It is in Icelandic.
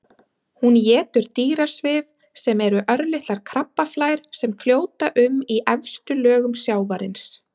Hún étur dýrasvif sem eru örlitlar krabbaflær sem fljóta um í efstu lögum sjávarins.